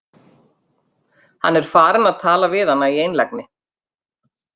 Hann er farinn að tala við hana í einlægni!